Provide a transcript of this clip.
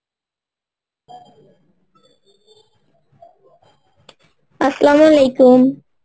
Arbi